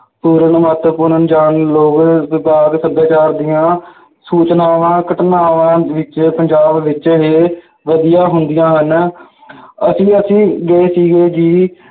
ਪੂਰਨ ਮਹੱਤਵਪੂਰਨ ਲੋਕ ਵਿਭਾਗ ਸੱਭਿਆਚਾਰ ਦੀਆਂ ਸੂਚਨਾਵਾਂ, ਘਟਨਾਵਾਂ ਵਿੱਚ ਪੰਜਾਬ ਵਿੱਚ ਹੀ ਵਧੀਆਂ ਹੁੰਦੀਆਂ ਹਨ ਅਸੀਂ ਅਸੀਂ ਗਏ ਸੀਗੇ ਜੀ